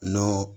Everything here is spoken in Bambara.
N'o